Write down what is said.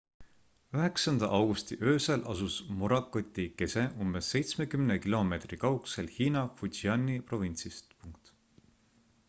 9 augusti öösel asus morakoti kese umbes seitsmekümne kilomeetri kaugusel hiina fujiani provintsist